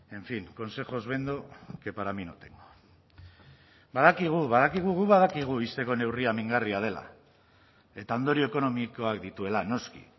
en fin consejos vendo que para mí no tengo badakigu badakigu guk badakigu ixteko neurria mingarria dela eta ondorio ekonomikoak dituela noski